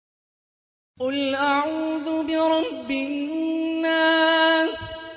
قُلْ أَعُوذُ بِرَبِّ النَّاسِ